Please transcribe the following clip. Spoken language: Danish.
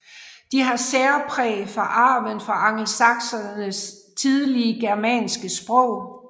De har særpræg fra arven fra angelsaksernes tidlige germanske sprog